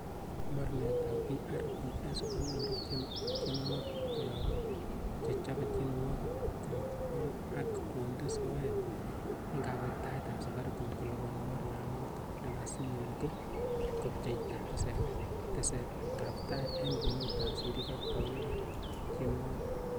Mornetab PRPs konyoru tienwogik koyob chechobe tienwogik, kongot ak konde soet en kawektaet, Safaricon koliponi mornanoton nekasinyin ko kopcheita tesetabtai en kwenutab sirik ak taunik ab tienwogik.